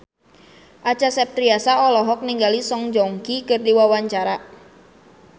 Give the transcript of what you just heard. Acha Septriasa olohok ningali Song Joong Ki keur diwawancara